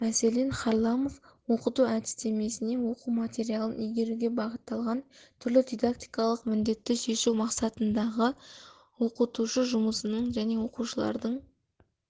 мәселен харламов оқыту әдістемесіне оқу материалын игеруге бағытталған түрлі дидактикалық міндетті шешу мақсатындағы оқытушы жұмысының және оқушылардың